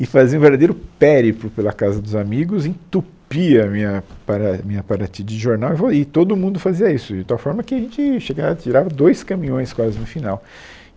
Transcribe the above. e fazia um verdadeiro périplo pela casa dos amigos, entupia a minha para minha paratia de jornal e vo e todo mundo fazia isso, de tal forma que a gente tirava dois caminhões quase no final.